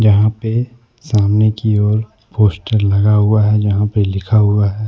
यहां पे सामने की ओर पोस्टर लगा हुआ है जहां पर लिखा हुआ है।